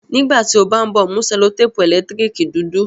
nígbàtí o bá nbọ mu sellotape elekitirikidudu